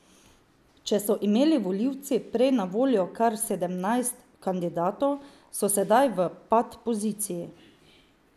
Če so imeli volivci prej na voljo kar sedemnajst kandidatov, so sedaj v pat poziciji.